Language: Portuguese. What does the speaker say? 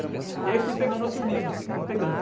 E aí, fui pegando outros livros, fui pegando.